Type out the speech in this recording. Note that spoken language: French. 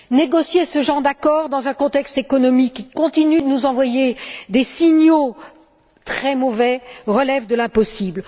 Négocier ce genre d'accord, dans un contexte économique qui continue de nous envoyer des signaux très mauvais, relève de l'impossible.